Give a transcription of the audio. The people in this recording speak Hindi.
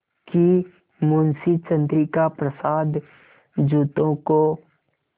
कि मुंशी चंद्रिका प्रसाद जूतों को